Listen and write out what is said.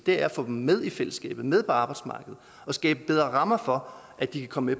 er at få dem med i fællesskabet med på arbejdsmarkedet og skabe bedre rammer for at de kan komme